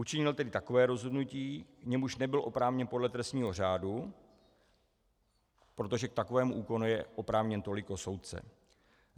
Učinil tedy takové rozhodnutí, k němuž nebyl oprávněn podle trestního řádu, protože k takovému úkonu je oprávněn toliko soudce.